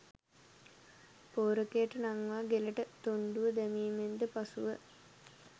' පෝරකයට නංවා ගෙලට තොණ්ඩුව දැමීමෙන්ද පසුව